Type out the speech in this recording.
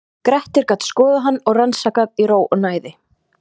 Grettir gat skoðað hann og rannsakað í ró og næði.